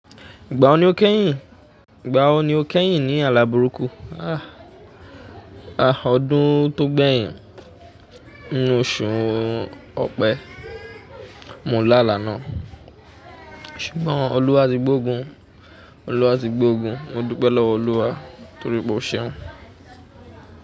Ìgbà wo ni o kẹ́yìn? Ìgbà wo ni o kẹ́yìn ní àlá burúkú? Ah, ọdún tó gbẹ̀yìn, inú oṣù Ọ̀pẹ, mo lá àlá náà. Ṣùgbọ́n Olúwa tí gbógun, Olúwa ti gbógun, mo dúpẹ́ lọ́wọ́ Olúwa torí pé ó ṣeun.